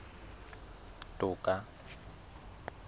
toka